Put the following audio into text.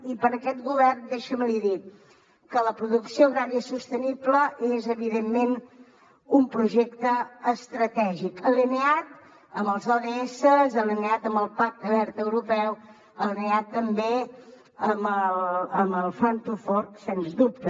i per a aquest govern deixi’m li dir que la producció agrària sostenible és evidentment un projecte estratègic alineat amb els ods alineat amb el pacte verd europeu alineat també amb el farm to fork sens dubte